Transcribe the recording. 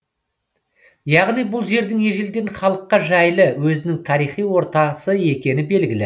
яғни бұл жердің ежелден халыққа жайлы өзінің тарихи ортасы екені белгілі